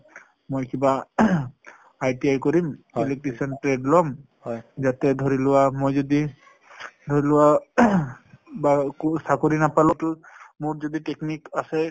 মই কিবা ITI কৰিম electrician trade লম । ইয়াতে ধৰি লোৱা মই যদি ধৰি লোৱা কোনো চাকৰি নাপালেও টো মোৰ যদি technique আছে